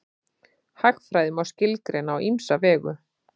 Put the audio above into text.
Hagfræði má skilgreina á ýmsa vegu.